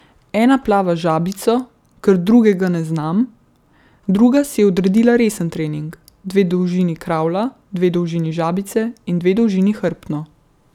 Ena plava žabico, 'ker drugega ne znam', druga si je odredila resen trening: 'dve dolžini kravla, dve dolžini žabice in dve dolžini hrbtno'.